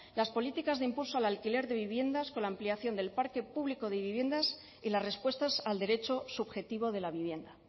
las políticas de impulso al alquiler de viviendas con la ampliación del parque público de viviendas y las respuestas al derecho subjetivo de la vivienda